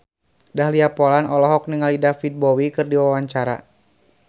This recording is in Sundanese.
Dahlia Poland olohok ningali David Bowie keur diwawancara